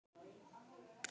Frekar en liðin ár.